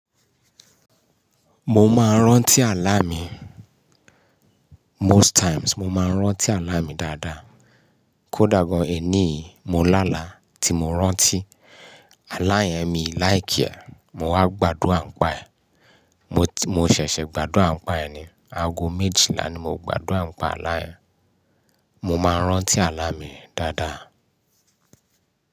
Mo máa ń rántí àlá mi. Most times, mo máa ń rántí àlá mi dáadáa. Kódà gan-an èní yìí mo lálàá tí mo rántí. Alá yẹn mi like e mo wá gbádùra ǹipa ẹ̀. Mo ṣẹ̀ṣẹ̀ gbádùn àpa ẹ̀ ni. Ago méjìlá ni mo gbádura ni pa aalá yẹn. Mo máa ń rántí àlá mi dáadáa.